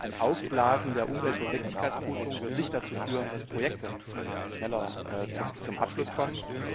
Denn ein Aufblasen der Umweltverträglichkeitsprüfung wird nicht dazu führen, dass Projekte schneller zum Abschluss kommen.